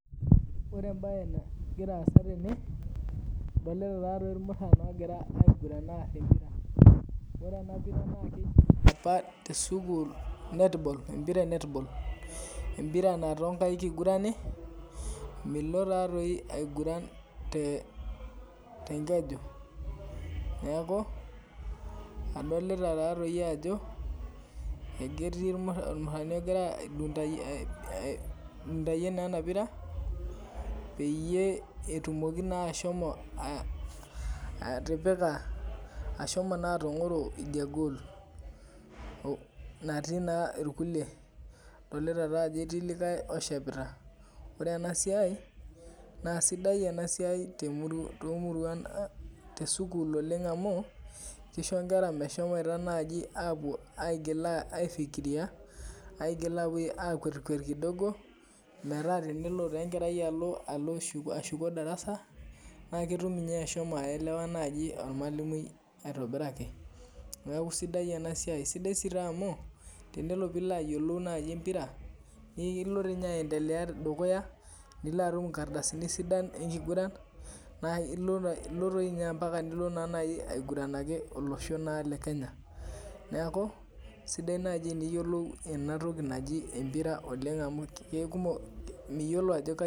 Ore embaye nagira aasa tene, adolita taa dei ilmuran ogira aiguran aar empira, ore ena pira naa keji opa te sukuul Netball. Empira naa too inkaik eigurani, milo taadei aiguran te enkeju, neaku adolita taadei ajo, aiketii olmurani ogira aidundayie naa ena pira, peyie etumoki naa ashomo atapika, ashoma taa atang'oro idia [ccs] goal natii naa ilkulie, idolita taa ajo ketii likai oshepita. Ore ena siai naa sidai too imuruan ang' te sukuul amu, keisho inkera meshomoito naaji aapuo aigil aifikiria, aigil ashom akwetkwet kidogo, metaa tenelo taa enkerai alo ashuko darasa, naa ketum ninye ashomo aelewa naaji olmwalimui aitobiraki. Neaku sidai ena siai, sidai taa amu, tenelo piilo ayielou naaji empira, niilo ninye aendelea dukuya, nilo atum inkardasini sidan naa ilo dei ninye etaa ilo naaji aigurannaki olosho le Kenya , neaku, sidai naaji eniyolou ena toki naji empira oleng' amu miyolo ajo kaji.